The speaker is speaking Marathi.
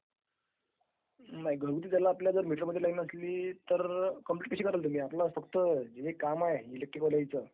नाही .................... is not clear